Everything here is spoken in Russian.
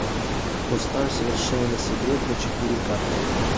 поставь совершенно секретно четыре ка